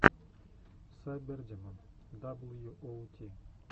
сайбердимон даблюоути